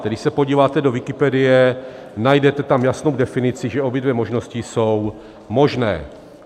Když se podíváte do Wikipedie, najdete tam jasnou definici, že obě dvě možnosti jsou možné.